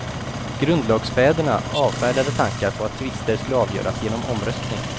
Grundlagsfäderna avfärdade tankar på att tvister skulle avgöras genom omröstning.